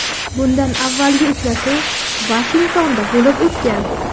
Bundan avvalgi uchrashuv Vashingtonda bo‘lib o‘tgan.